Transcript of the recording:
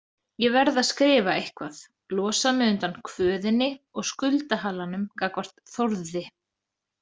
Ég verð að skrifa eitthvað, losa mig undan kvöðinni og skuldahalanum gagnvart Þórði.